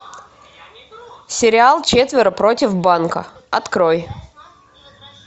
сериал четверо против банка открой